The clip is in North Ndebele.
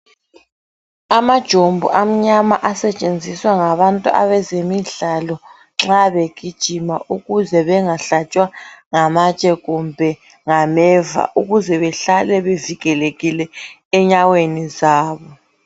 Amajombo amnyama asetshenziswa ngabantu abezemidlalo nxa begijima ukuze bengahlatshwa ngamatshe kumbe ngameva ukuze behlale bevikelekile enyaweni zabo.